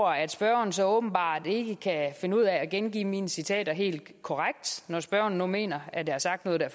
at spørgeren så åbenbart ikke kan finde ud af at gengive mine citater helt korrekt når spørgeren nu mener at jeg har sagt noget der